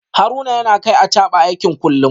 Haruna yana kai Achaba aiki kullum